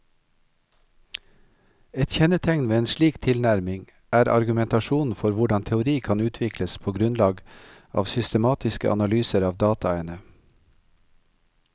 Et kjennetegn ved en slik tilnærming er argumentasjonen for hvordan teori kan utvikles på grunnlag av systematiske analyser av dataene.